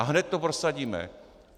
A hned to prosadíme.